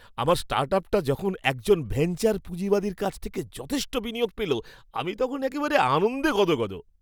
আমার স্টার্টআপটা যখন একজন ভেঞ্চার পুঁজিবাদীর কাছ থেকে যথেষ্ট বিনিয়োগ পেল, আমি তখন একেবারে আনন্দে গদগদ!